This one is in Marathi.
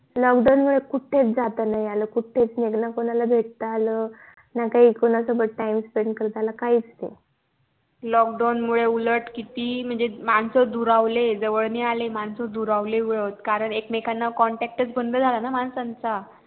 lockdown मुळे उलट किती म्हणजे मानस दुरावले जवळ नई आले मानस दुरावले उलट कारण एक मेकांना contact चा बंद झाला माणसांचा